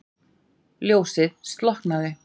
Ljósið slokknaði.